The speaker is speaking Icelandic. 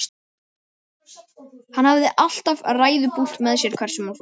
Hann hafði alltaf ræðupúlt með sér hvert sem hann fór.